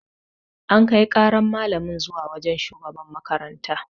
An Kai ƙaran malamin zuwa wajan shugaban makaranta